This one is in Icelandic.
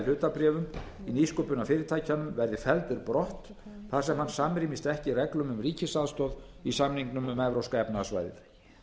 hlutabréfum í nýsköpunarfyrirtækjum verði felldur brott þar sem hann samrýmist ekki reglum um ríkisaðstoð í samningnum um evrópska efnahagssvæðið